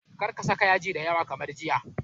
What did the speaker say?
Kar ka saka yaji da yawa kamar jiya.